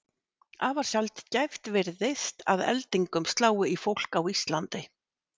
Afar sjaldgæft virðist að eldingum slái í fólk á Íslandi.